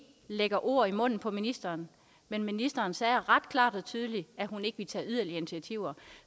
lægger ord i munden på ministeren men ministeren sagde ret klart og tydeligt at hun ikke ville tage yderligere initiativer